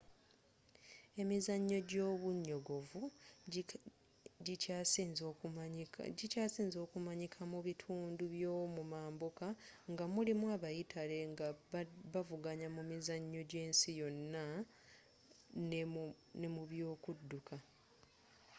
emizannyo gyobunyogovu gikyasinze okumanyika mu bitundu by'omu mambuka nga mulimu abayitale nga bavuganya mu mizannyo gy'ensi yonna ne mu byokudduka